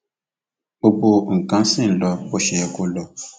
gbogbo nǹkan ṣì ń lọ bó ṣe yẹ kó lọ